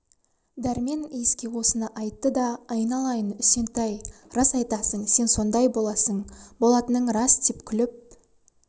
дәрмен иіске осыны айтты да айналайын үсентай рас айтасың сен сондай боласың болатының рас деп күліп